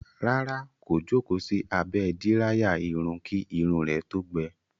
Rárá, kò jókòó sí abẹ́ díráyà irun kí irun rẹ̀ tó gbẹ.